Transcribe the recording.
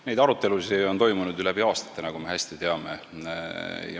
Neid arutelusid on läbi aastate toimunud, nagu me hästi teame.